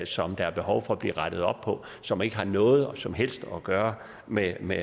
som der er behov for bliver rettet op på og som ikke har noget som helst at gøre med med